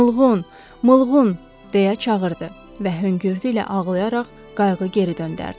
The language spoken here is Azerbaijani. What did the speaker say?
Mılğın, Mılğın, deyə çağırdı və höngürtü ilə ağlayaraq qayğı geri göndərdi.